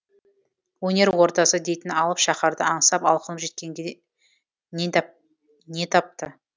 өнер ордасы дейтін алып шаһарды аңсап алқынып жеткенде не тапты